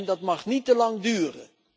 Dat mag niet te lang duren.